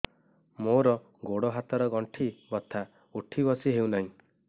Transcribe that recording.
ମୋର ଗୋଡ଼ ହାତ ର ଗଣ୍ଠି ବଥା ଉଠି ବସି ହେଉନାହିଁ